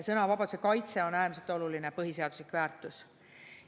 Sõnavabaduse kaitse on äärmiselt oluline põhiseaduslik väärtus.